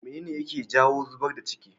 mene ne yake jawo zubar da ciki?